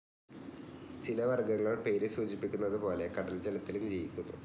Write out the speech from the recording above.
ചില വർഗ്ഗങ്ങൾ പേര് സൂചിപ്പിക്കുന്നതുപോലെ കടൽ ജലത്തിലും ജീവിക്കുന്നു.